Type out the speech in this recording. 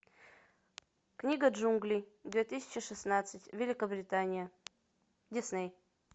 книга джунглей две тысячи шестнадцать великобритания дисней